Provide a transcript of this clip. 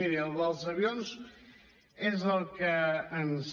miri el dels avions és el que ens